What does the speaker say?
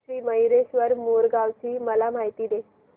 श्री मयूरेश्वर मोरगाव ची मला माहिती दे